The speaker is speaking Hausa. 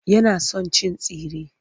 Yana son cin tsire.